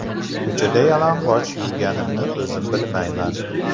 Ko‘chada yalang‘och yurganimni o‘zim bilmayman.